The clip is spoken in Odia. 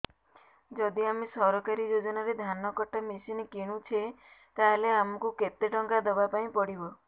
ଯଦି ଆମେ ସରକାରୀ ଯୋଜନାରେ ଧାନ କଟା ମେସିନ୍ କିଣୁଛେ ତାହାଲେ ଆମକୁ କେତେ ଟଙ୍କା ଦବାପାଇଁ ପଡିବ